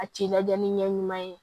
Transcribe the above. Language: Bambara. A ci lajɛ ni ɲɛ ɲuman ye